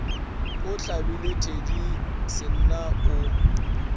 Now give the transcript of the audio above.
a hlabile thedi senna o